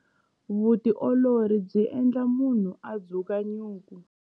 Vutiolori byi endla munhu a dzuka nyuku.